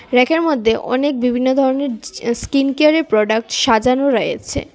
ব়্যাকের মধ্যে অনেক বিভিন্ন ধরনের জি স্কিন কেয়ারের প্রোডাক্ট সাজানো রয়েছে।